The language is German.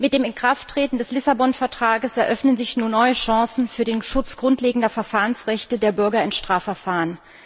Mit dem Inkrafttreten des Lissabon Vertrags eröffnen sich nun neue Chancen für den Schutz grundlegender Verfahrensrechte der Bürger in Strafverfahren.